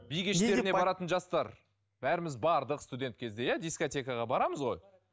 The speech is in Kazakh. би кештеріне баратын жастар бәріміз бардық студент кезде иә дискотекаға барамыз ғой